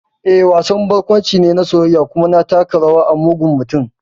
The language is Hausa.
Eh, wasan barkwanci ne na soyayya, kuma na taka rawa a mugun mutum.